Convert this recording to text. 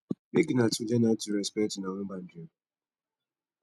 mek una two learn aw to respekt una own bandry o